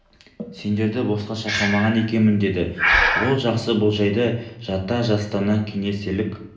сендерді босқа шақырмаған екенмін деді ол жақсы бұл жайды жата-жастана кеңеселік